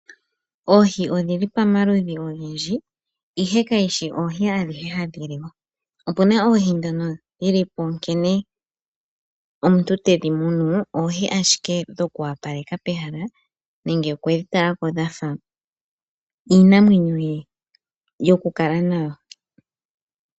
Oohi odhili pamaludhi ogendji ihe kayishi oohi adhihe hadhi liwa. Opuna oohi dhono dhilipo nkene omuntu tedhi munu oohi ashike dhoku wapaleka pehala nenge okwedhi talako dhafa iinamwenyo ye yokukala nayo.